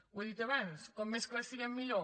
ho he dit abans com més clars siguem millor